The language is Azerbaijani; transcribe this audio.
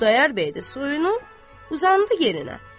Xudayar bəy də suyunu uzandı yerinə.